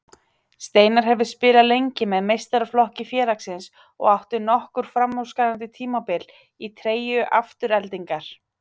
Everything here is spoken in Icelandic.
Steinar hefur spilað lengi með meistaraflokki félagsins og átt nokkur framúrskarandi tímabil í treyju Aftureldingar.